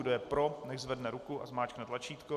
Kdo je pro, nechť zvedne ruku a zmáčkne tlačítko.